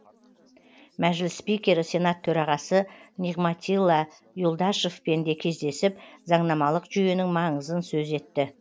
мәжіліс спикері сенат төрағасы нигматилла юлдашевпен де кездесіп заңнамалық жүйенің маңызын сөз етті